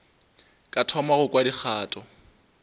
ka thoma go kwa dikgato